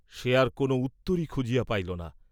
সে আর কোন উত্তরই খুঁজিয়া পাইল না।